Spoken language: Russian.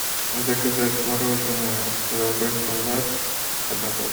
заказать мороженое золотой стандарт одна пачка